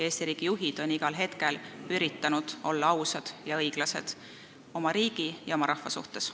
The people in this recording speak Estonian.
Meie juhid on igal hetkel üritanud olla ausad ja õiglased oma riigi ja rahva suhtes.